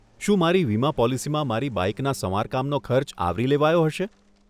શું મારી વીમા પોલિસીમાં મારી બાઈકના સમારકામનો ખર્ચ આવરી લેવાયો હશે?